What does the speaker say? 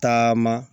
Taama